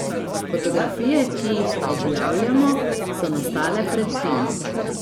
Fotografije, ki jih objavljamo, so nastale pred tem.